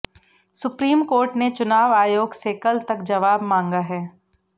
supreme court ने चुनाव आयोग से कल तक जवाब मांगा है